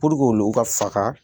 olu ka faga